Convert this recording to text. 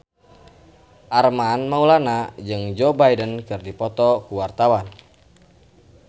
Armand Maulana jeung Joe Biden keur dipoto ku wartawan